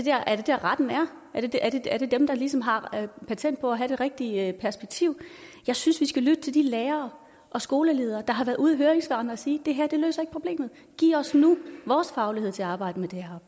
der retten er er det dem der ligesom har patent på at have det rigtige perspektiv jeg synes vi skal lytte til de lærere og skoleledere der har været ude i høringssvarene og sige det her løser ikke problemet giv os nu vores faglighed til at arbejde